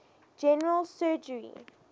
general surgery